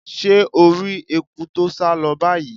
Se o ri eku to sa lo bayii?